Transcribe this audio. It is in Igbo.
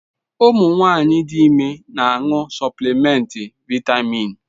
Ụmụ nwanyị dị ime na-aṅụ suplimenti vaịtamịn.